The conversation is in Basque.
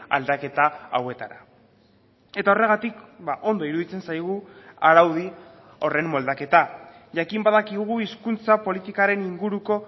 aldaketa hauetara eta horregatik ondo iruditzen zaigu araudi horren moldaketa jakin badakigu hizkuntza politikaren inguruko